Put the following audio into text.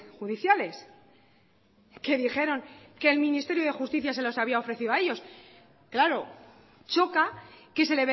judiciales que dijeron que el ministerio de justicia se las había ofrecido a ellos claro choca que se